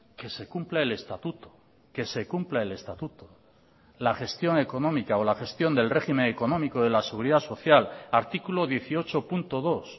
que se cumpla el estatuto que se cumpla el estatuto la gestión económica o la gestión del régimen económico de la seguridad social artículo dieciocho punto dos